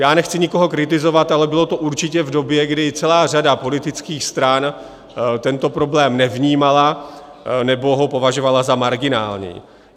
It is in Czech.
Já nechci nikoho kritizovat, ale bylo to určitě v době, kdy celá řada politických stran tento problém nevnímala nebo ho považovala za marginální.